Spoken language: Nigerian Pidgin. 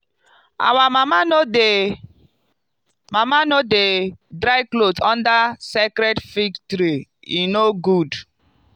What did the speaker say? our mama no dey mama no dey dry cloth under sacred fig tree - e no good.